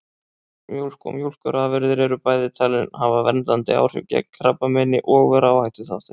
Mjólk og mjólkurafurðir eru bæði talin hafa verndandi áhrif gegn krabbameini og vera áhættuþáttur.